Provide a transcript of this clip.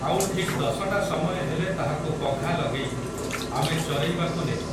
ଆଉ ଠିକ୍ ଦଶଟା ସମୟ ହେଲେ ତାହାକୁ ପଘା ଲଗେଇ ଆମେ ଚରେଇବାକୁ ନେଉ।